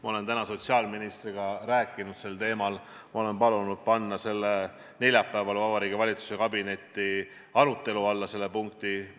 Ma olen täna sotsiaalministriga rääkinud sel teemal, ma olen palunud panna neljapäeval Vabariigi Valitsuse kabinetiarutelul selle punkti arutelu alla.